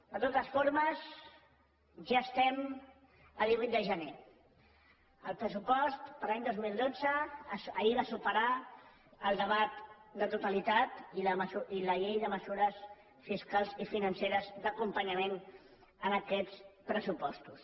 de totes formes ja estem a divuit de gener el pressupost per a l’any dos mil dotze ahir va superar el debat de totalitat i la llei de mesures fiscals i financeres d’acompanyament d’aquests pressupostos